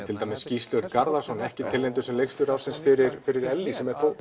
til dæmis Gísli Örn Garðarsson ekki tilnefndur leikstjóri ársins fyrir fyrir Ellý sem er